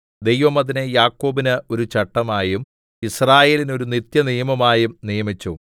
ദൈവം അതിനെ യാക്കോബിന് ഒരു ചട്ടമായും യിസ്രായേലിന് ഒരു നിത്യനിയമമായും നിയമിച്ചു